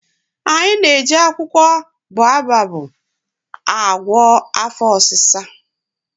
Anyị na-eji akwụkwọ boababụ agwọ afọ ọsịsa.